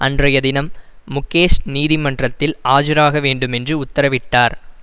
அன்றைய தினம் முகேஷ் நீதிமன்றத்தில் ஆஜராக வேண்டும் என்றும் உத்தரவிட்டார்